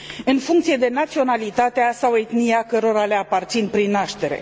în funcție de naționalitatea sau etnia cărora le aparțin prin naștere.